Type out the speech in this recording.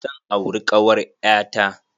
Zan auri kawar ƴa ta.